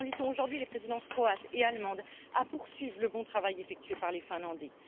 Nous invitons aujourd'hui les présidences croate et allemande à poursuivre le bon travail effectué par les Finlandais.